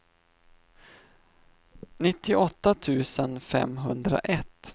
nittioåtta tusen femhundraett